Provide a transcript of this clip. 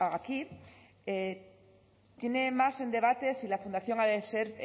aquí tiene más en debate si la fundación ha de ser